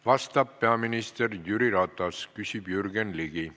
Vastab peaminister Jüri Ratas, küsib Jürgen Ligi.